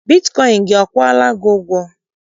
Bitkọịn gị akwụọla gị ụgwọ?